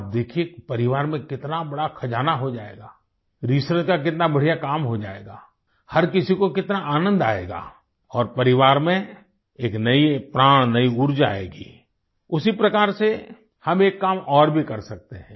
आप देखिये कि परिवार में कितना बड़ा खजाना हो जाएगा रिसर्च का कितना बढ़िया काम हो जाएगा हर किसी को कितना आनन्द आएगा और परिवार में एक नयी प्राण नयी उर्जा आएगी उसी प्रकार से हम एक काम और भी कर सकते हैं